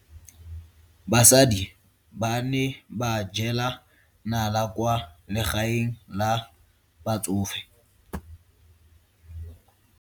Basadi ba ne ba jela nala kwaa legaeng la batsofe.